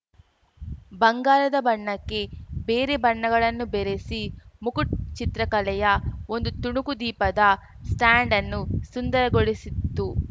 ಬಂಗಾರದ ಬಣ್ಣಕ್ಕೆ ಬೇರೆ ಬಣ್ಣಗಳನ್ನು ಬೆರೆಸಿ ಮುಗಟ್‌ ಚಿತ್ರಕಲೆಯ ಒಂದು ತುಣುಕು ದೀಪದ ಸ್ಟಾಂಡನ್ನು ಸುಂದರಗೊಳಿಸಿತ್ತು